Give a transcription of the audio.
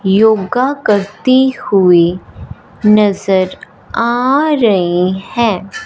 योगा करती हुईं नजर आ रही हैं।